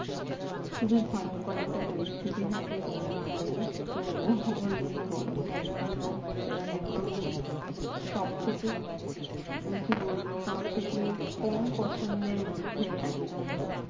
খুবই ভয়ঙ্কর একটা পরিস্থিতি থাকে গরমকালে তো ওর জন্য গরমটা একদম last এ মানে একদম সবথেকে উম কি বলবো সব থেকে কম পছন্দের মধ্যে একদম